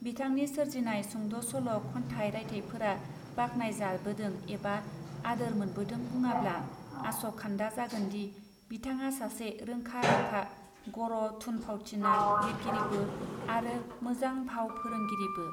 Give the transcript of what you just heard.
बिथांनि सोरजिनाय सुंद सल खन्थाय रायथायफोरा बाख्नायजाबोदों एबा आदोर मोनबोदों बुङाब्ला आस खान्दा जागोनदि बिथाङा सासे रोंखा राखा गर थुन फावथिना लिरगिरिबो आरो मोजां भाव फोरोंगिरिबो.